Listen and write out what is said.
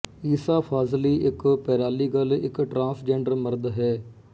ਈਸਾ ਫਾਜ਼ਲੀ ਇੱਕ ਪੈਰਾਲੀਗਲ ਇੱਕ ਟਰਾਂਸਜੈਂਡਰ ਮਰਦ ਹੈ